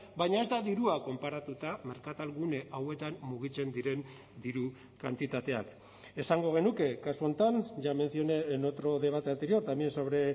baina ez da dirua konparatuta merkatal gune hauetan mugitzen diren diru kantitateak esango genuke kasu honetan ya mencioné en otro debate anterior también sobre